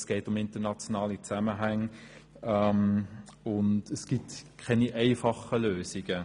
Es geht um internationale Zusammenhänge und es gibt keine einfachen Lösungen.